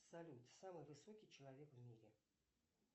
салют самый высокий человек в мире